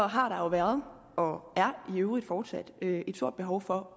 har der jo været og er i øvrigt fortsat et stort behov for